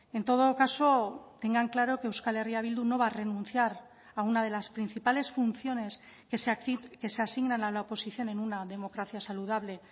en todo caso tengan claro que euskal herria bildu no va a renunciar a una de las principales funciones que se asignan a la oposición en una democracia saludable